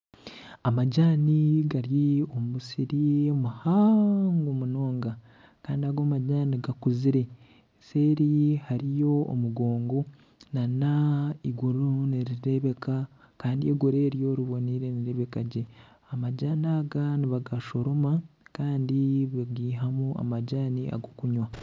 Amajaani gari omu musiri muhango munonga, kandi ago amajaani gakuzire seeri hariyo omugongo nana eiguru nirirebeka kandi eiguru eryo riboneire nirirebekagye amajaani aga nibagashoroma kandi bagihamu amajaani ag'okunywa.